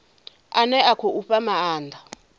ane a khou fha maanda